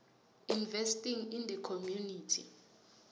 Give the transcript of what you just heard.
investing in the community